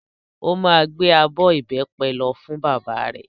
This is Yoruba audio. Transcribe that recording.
Ó máa gbé abọ́ ìbẹ́pẹ lọ fún bàbá rẹ̀.